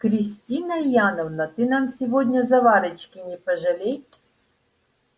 кристина яновна ты нам сегодня заварочки не пожалей